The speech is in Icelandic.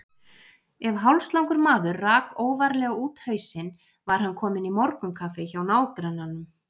Ef hálslangur maður rak óvarlega út hausinn var hann kominn í morgunkaffi hjá nágrannanum.